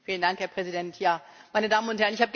Herr Präsident, meine Damen und Herren!